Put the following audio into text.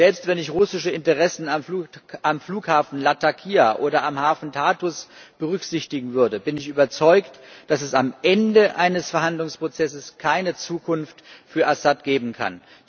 Selbst wenn ich russische Interessen am Flughafen Latakia oder am Hafen Tartus berücksichtigen würde, bin ich überzeugt, dass es am Ende eines Verhandlungsprozesses keine Zukunft für Assad geben kann.